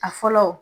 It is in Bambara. A fɔlɔ